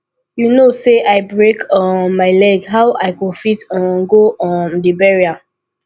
you know say i break um my leg how i go fit um go um the burial